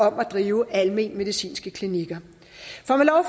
at drive alment medicinske klinikker